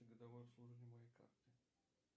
годовое обслуживание моей карты